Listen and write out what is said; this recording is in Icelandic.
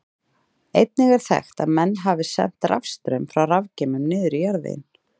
Einnig er þekkt að menn hafi sent rafstraum frá rafgeymum niður í jarðveginn.